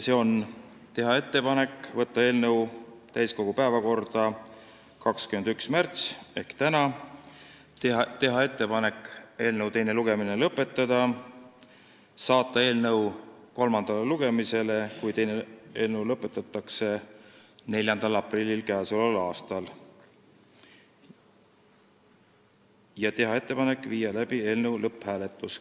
Need on järgmised: teha ettepanek saata eelnõu täiskogu päevakorda 21. märtsiks ehk tänaseks, teha ettepanek eelnõu teine lugemine lõpetada ja saata eelnõu kolmandale lugemisele, kui teine lugemine lõpetatakse, 4. aprilliks ning teha ettepanek panna eelnõu lõpphääletusele.